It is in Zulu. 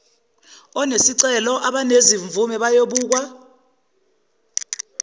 onesicelo abanezimvume bayobukwa